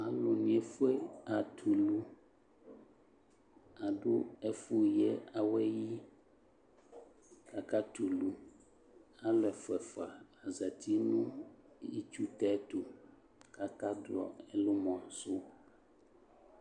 Alu ne edue atɛ ulu Ado ɛfo yiawɛ yiAka tulu , alu ɛfua ɛfua azati no itsu tɛ to kaka duɔ ɛlumɔ so